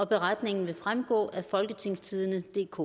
beretningen vil fremgå af folketingstidendedk